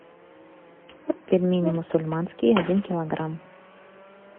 пельмени мусульманские один килограмм